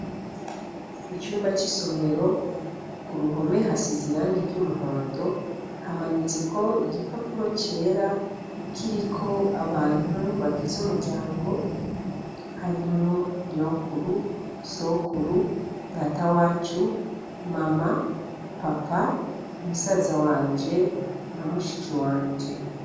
Icumba c'isomero, ku ruhome hasize irangi ry'umuhondo, hamanitseko igipapuro cera kiriko abantu bagize umuryango harimwo nyokuru, nyokuru, data wacu, mama, papa ,musaza wanje na mushiki wanje.